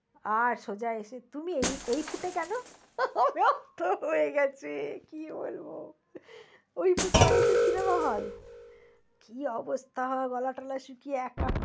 আর সোজা এসে তুমি এই foot এ কেন? হয়ে গেছে কি বলব ওই foot মানেই তো cinema hall । কি অবস্থা গলা টলা শুকিয়ে একা~